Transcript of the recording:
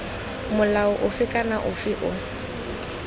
molao ofe kana ofe o